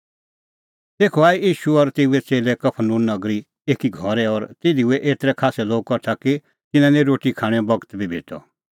तेखअ आऐ ईशू और तेऊए च़ेल्लै कफरनहूम नगरी एकी घरै और तिधी हुऐ एतरै खास्सै लोग कठा कि तिन्नां निं रोटी खाणेंओ बगत बी भेटअ